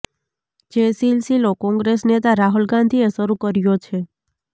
જે સિલસિલો કોંગ્રેસ નેતા રાહુલ ગાંધીએ શરૂ કર્યો છે